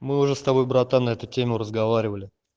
мы уже с тобой братан на эту тему разговаривали